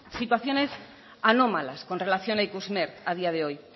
situaciones anómalas con relación a ikusmer a día de hoy